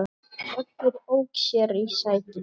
Oddur ók sér í sætinu.